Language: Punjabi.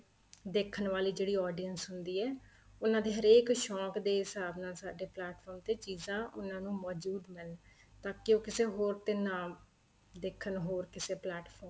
ਦੇਖਣ ਵਾਲੀ ਜਿਹੜੀ auditions ਹੁੰਦੀ ਏ ਉਹਨਾ ਦੇ ਹਰੇਕ ਸ਼ੋਂਕ ਦੇ ਹਿਸਾਬ ਨਾਲ ਸਾਡੇ plate from ਤੇ ਚੀਜ਼ਾਂ ਉਹਨਾ ਨੂੰ ਮੋਜੂਦ ਮਿਲਣ ਤਾਂ ਕੀ ਉਹ ਕਿਸੇ ਹੋਰ ਤੇ ਨਾ ਦੇਖਣ ਹੋਰ ਕਿਸੇ plate from ਤੇ